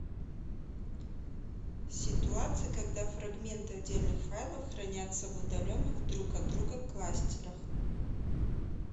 ситуация когда фрагменты отдельных файлов хранятся в удаленных друг от друга кластерах